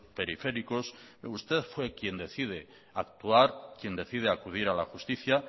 periféricos usted fue quien decide actuar quien decide acudir a la justicia